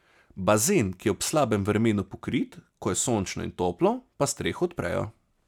Bazen, ki je ob slabem vremenu pokrit, ko je sončno in toplo, pa streho odprejo.